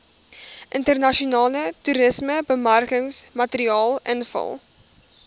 internasionale toerismebemarkingsmateriaal invul